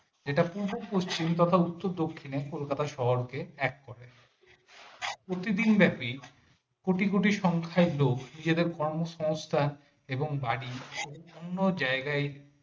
যেটা পূর্ব-পশ্চিম তথা উত্তর দক্ষিনে কলকাতা শহর কে এক করে প্রতিদিন ব্যাপি কোটি কোটি সংখ্যায় লোক কর্মসংস্থা এবং বাড়ির বিভিন্ন জায়গায়।